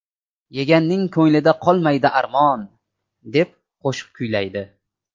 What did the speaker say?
Yeganning ko‘nglida qolmaydi armon”, deb qo‘shiq kuylaydi.